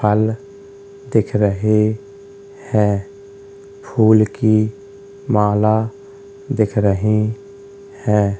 फल दिख रहे है फुल की माला दिख रहे है।